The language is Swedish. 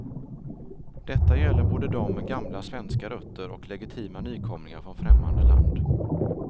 Detta gäller både dem med gamla svenska rötter och legitima nykomlingar från främmande land.